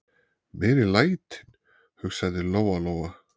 Meiri lætin, hugsaði Lóa-Lóa.